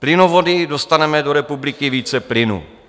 Plynovody dostaneme do republiky více plynu.